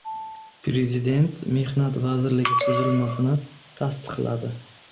Prezident Mehnat vazirligi tuzilmasini tasdiqladi.